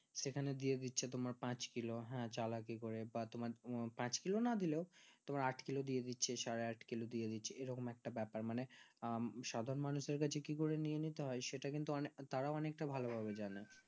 সেখানে দিয়ে দিচ্ছে তোমার পাঁচ কিলো হ্যাঁ চালাকি করে বা তোমার পাঁচ কিলো না দিলেও তোমার আট কিলো দিয়ে দিচ্ছে সাড়ে আট কিলো দিয়ে দিচ্ছে এরকম একটা ব্যাপার মানে আঃ সাধারণ মানুষের কাছে কি করে নিয়ে নিতে হয় সেটা কিন্তু তারা অনেক তা ভালো ভাবে জানে